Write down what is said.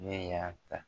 Ne y'a ta